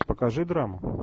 покажи драму